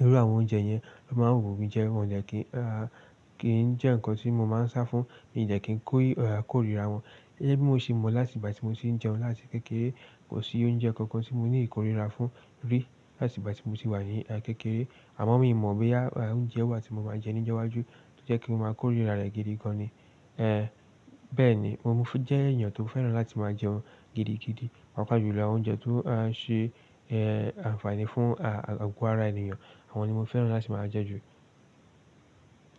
Óru àwọn oúnjẹ yẹn, a máa ń wù mí jẹ wọn, kì í jẹ nkán tí mo máa ń sá fún, mi ò dẹ́ kín kórìra wọn. Gẹ́gẹ́ bí mo ṣe mọ̀ láti ìgbà tí mo ti ń jẹun láti kékeré, kò sí oúnjẹ kankan tí mo ní ìkórira fún rí láti ìgbà tí mo sì wà ní kékeré. Àmọ́ mi ò mọ̀ boya oúnjẹ wa tí mo máa jẹ́ ní ijo iwájú tó jẹ́ ti máa kórìíra rẹ̀ gidi gan ni. Eh bẹ́ẹ̀ni, mo jẹ́ èèyàn tó fẹ́ràn láti máa jẹun gidigidi, pàápàá jùlọ àwọn oúnjẹ tó á ṣe eh ànfààní fún ah agó ara ènìyàn, àwọn ni mo fẹ́ràn láti máa jẹ́ jù.